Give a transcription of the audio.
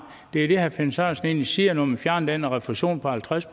det er egentlig det herre finn sørensen siger at når man fjerner den refusion på halvtreds